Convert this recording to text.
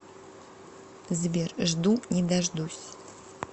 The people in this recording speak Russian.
сбер жду не дождусь